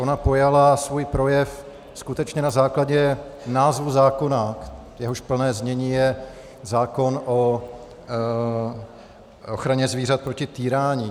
Ona pojala svůj projev skutečně na základě názvu zákona, jehož plné znění je zákon o ochraně zvířat proti týrání.